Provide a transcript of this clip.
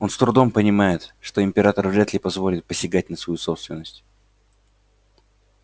он с трудом понимает что император вряд ли позволит посягать на свою собственность